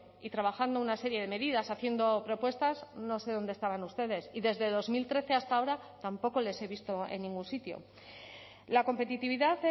y trabajando una serie de medidas haciendo propuestas no sé dónde estaban ustedes y desde dos mil trece hasta ahora tampoco les he visto en ningún sitio la competitividad